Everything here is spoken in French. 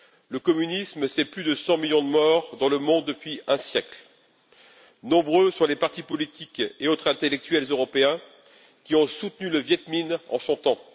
Le communisme, c'est plus de 100 millions de morts dans le monde depuis un siècle. Nombreux sont les partis politiques et autres intellectuels européens qui ont soutenu le Viêt Minh en son temps.